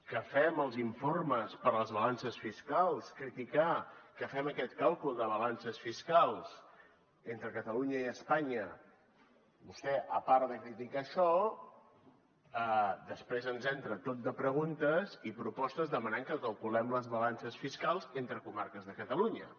que fem els informes per a les balances fiscals criticar que fem aquest càlcul de balances fiscals entre catalunya i espanya vostè a part de criticar això després ens entra tot de preguntes i propostes demanant que calculem les balances fiscals entre comarques de catalunya